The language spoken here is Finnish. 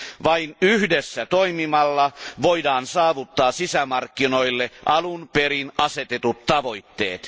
Vain yhdessä toimimalla voidaan saavuttaa sisämarkkinoille alun perin asetetut tavoitteet.